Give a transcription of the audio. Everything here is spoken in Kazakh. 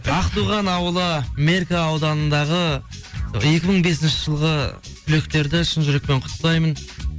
ақтоған ауылы меркі ауданындағы екі мың бесінші жылғы түлектерді шын жүрекпен құттықтаймын